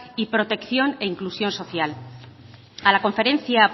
y protección e inclusión social a la conferencia